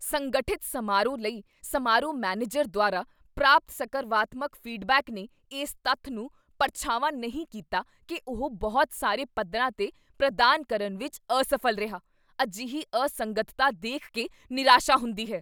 ਸੰਗਠਿਤ ਸਮਾਰੋਹ ਲਈ ਸਮਾਰੋਹ ਮੈਨੇਜਰ ਦੁਆਰਾ ਪ੍ਰਾਪਤ ਸਕਰਵਾਤਮਕ ਫੀਡਬੈਕ ਨੇ ਇਸ ਤੱਥ ਨੂੰ ਪਰਛਾਵਾਂ ਨਹੀਂ ਕੀਤਾ ਕੀ ਉਹ ਬਹੁਤ ਸਾਰੇ ਪੱਧਰਾਂ 'ਤੇ ਪ੍ਰਦਾਨ ਕਰਨ ਵਿੱਚ ਅਸਫ਼ਲ ਰਿਹਾ। ਅਜਿਹੀ ਅਸੰਗਤਤਾ ਦੇਖ ਕੇ ਨਿਰਾਸ਼ਾ ਹੁੰਦੀ ਹੈ।